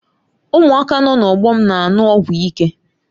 Ụmụaka nọ n'ógbè m na-aṅụ ọgwụ ike.